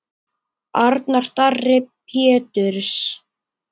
Arnar Darri Péturs.